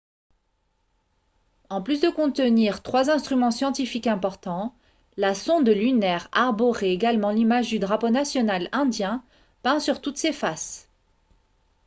en plus de contenir trois instruments scientifiques importants la sonde lunaire arborait également l'image du drapeau national indien peint sur toutes ses faces